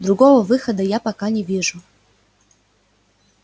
другого выхода я пока не вижу